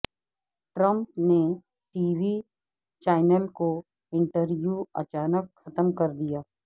Trump نے TV channel کو انٹرویواچانک ختم کردیا